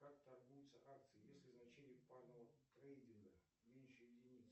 как торгуются акции если значение парного трейдинга меньше единицы